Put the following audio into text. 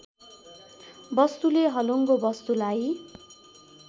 वस्तुले हलुङ्गो वस्तुलाई